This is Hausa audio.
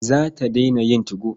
Za ta daina yin 2go.